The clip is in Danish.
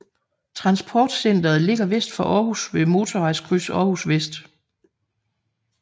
Transportcenteret ligger vest for Århus ved Motorvejskryds Århus Vest